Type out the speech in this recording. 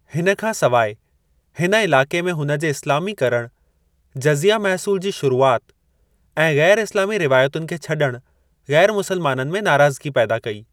हिन खां सवाइ, हिन इलाक़े में हुन जे इस्लामीकरणु, जज़िया महसूलु जी शुरूआति ऐं गै़र-इस्लामी रिवायतुनि खे छड॒णु, गै़र-मुसलमाननि में नाराज़गी पैदा कई।